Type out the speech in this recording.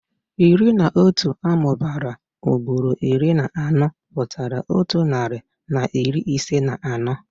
Iri na otu amụbara ugboro iri na anọ pụtara otu narị na iri ise na anọ.